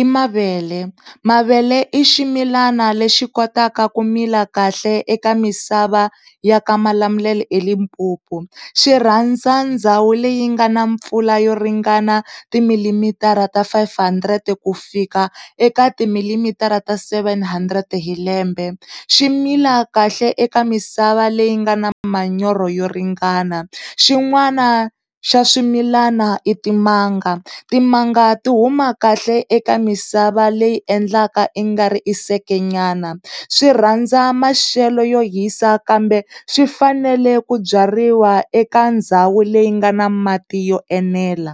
i mavele. Mavele i ximilana lexi kotaka kumila kahle eka misava ya ka Malamulele eLimpopo. Xi rhandza ndhawu leyi nga na mpfula yo ringana timilimitara ta five hundred ku fika eka timilimitara ta seven hundred hilembe, swimila kahle eka misava leyi nga na manyoro yo ringana. Xin'wani xa swimilana i timanga, timanga ti huma kahle eka misava leyi endlaka i nga ri i seke nyana, swirhandza maxelo yo hisa kambe swi fanele ku byariwa eka ndhawu leyi nga na mati yo enela.